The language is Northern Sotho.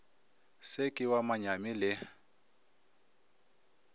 se ke wa manyami le